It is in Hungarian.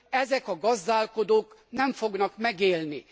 ezek a gazdálkodók nem fognak megélni.